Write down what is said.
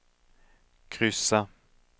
kryssa